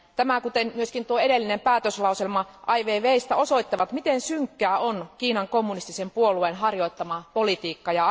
Tämä kuten myös edellinen päätöslauselma Ai Weiweistä osoittavat, miten synkkää Kiinan kommunistisen puolueen harjoittama politiikka on.